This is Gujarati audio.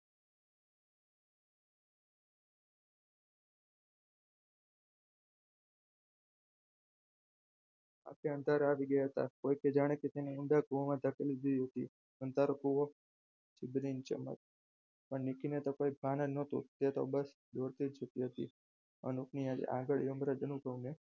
આંખે અંધારા આવી ગયા હતા. કોઈકે જાણે તેને ઇન્દ્રગૃહમાં ધકેલી દીધી હતી અંધારું કુવો ચીબરીની ચમક પણ વિકિને તો કોઈ ભાન જ ન હતું તે તો બસ દોડતી જતી હતી અનુપ ની આંગળીઓ